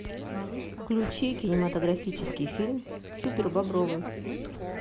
включи кинематографический фильм супер бобровы